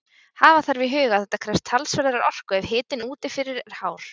Hafa þarf í huga að þetta krefst talsverðrar orku ef hitinn úti fyrir er hár.